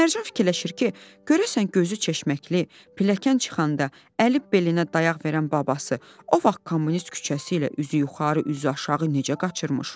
Mərcan fikirləşir ki, görəsən gözü çeşməkli, pilləkan çıxanda əli belinə dayaq verən babası o vaxt kommunist küçəsi ilə üzü yuxarı, üzü aşağı necə qaçırmış?